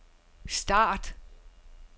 start